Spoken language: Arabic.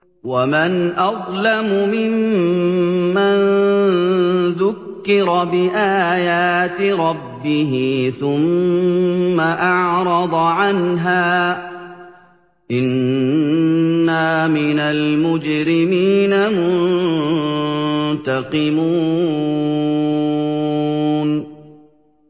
وَمَنْ أَظْلَمُ مِمَّن ذُكِّرَ بِآيَاتِ رَبِّهِ ثُمَّ أَعْرَضَ عَنْهَا ۚ إِنَّا مِنَ الْمُجْرِمِينَ مُنتَقِمُونَ